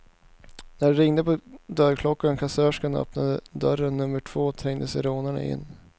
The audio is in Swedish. När det ringde på dörrklockan och kassörskan öppnade dörr nummer två trängde sig rånarna in.